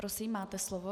Prosím, máte slovo.